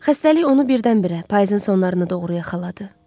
Xəstəlik onu birdən-birə payızın sonlarında doğru yaxaladı.